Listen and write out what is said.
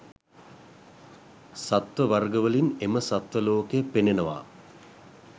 සත්ව වර්ග වලින් එම සත්ව ලෝකය පෙනෙනවා.